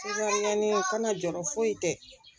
kana jɔɔrɔ foyi tɛ